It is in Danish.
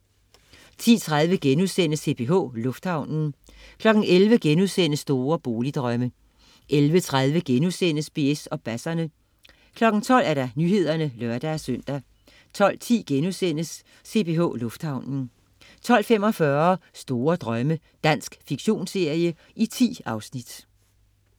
10.30 CPH, lufthavnen* 11.00 Store boligdrømme* 11.30 BS og basserne* 12.00 Nyhederne (lør-søn) 12.10 CPH Lufthavnen* 12.45 Store Drømme. Dansk fiktionsserie. 10 afsnit